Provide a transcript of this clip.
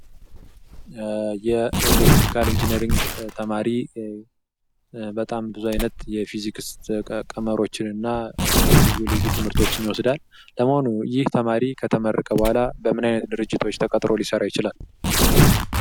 የኤሌትሪካል ኢንጅነሪንግ ተማሪ በጣም ብዙ አይነት የፊዚክስ ቀመሮች እና ልዩ ልዩ ትምህርቶችን ይወስዳል ። ለመሆኑ ይህ ተማሪ ከተመረቀ በኋላ በምን አይነት ድርጅቶች ተቀጥሮ ሊሰራ ይችላል?